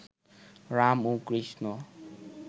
রাম ও কৃষ্ণ